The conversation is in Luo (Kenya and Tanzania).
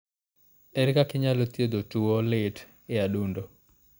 Ere kaka inyalo thiedh tuwo lit e adundo ?